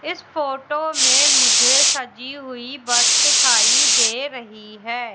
इस फोटो में मुझे सजी हुई बस दिखाई दे रही है।